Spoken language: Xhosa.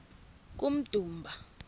kummdumba